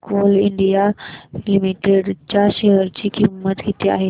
आज coal India limited च्या share ची किंमत किती आहे